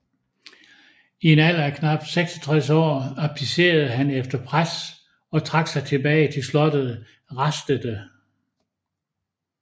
I en alder af knapt 66 år abdicerede han efter pres og trak sig tilbage til slottet Rastede